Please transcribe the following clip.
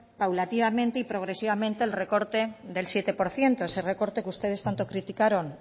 paulatinamente y progresivamente el recorte del siete por ciento ese recorte que ustedes tanto criticaron